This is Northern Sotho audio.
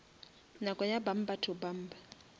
nako ya bumper to bumper